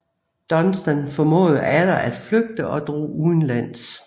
Dunstan formåede atter at flygte og drog udenlands